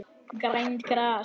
Grænt gras.